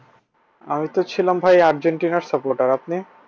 আমি তো ছিলাম ভাই আর্জেন্টিনার supporter আপনি?